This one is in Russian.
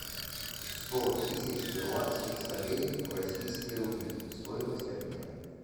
сто тысяч перуанских солей в российские рубли стоимость обмена